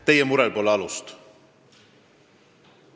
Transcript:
Teie murel pole alust.